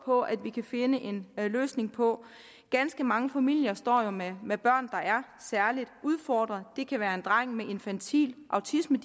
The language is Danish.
på at vi kan finde en løsning på ganske mange familier står jo med med børn der er særlig udfordret det kan være en dreng med diagnosen infantil autisme